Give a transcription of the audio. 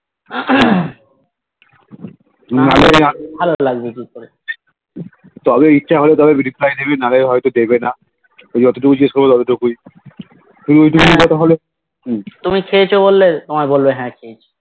ভালো লাগবে একটু করে হা তুমি খেয়েছো বললে তোমায় বলবে হা খেয়েছি